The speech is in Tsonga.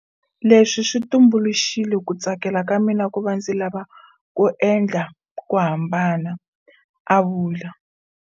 Leswi swi tumbuluxile ku tsakela ka mina ku va ndzi lava ku endla ku hambana, a vula.